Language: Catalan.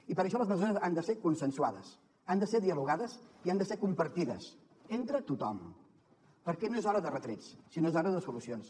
i per això les mesures han de ser consensuades han de ser dialogades i han de ser compartides entre tothom perquè no és hora de retrets sinó que que és hora de solucions